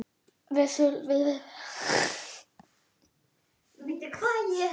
Við skyldum sleppa slíkri væmni.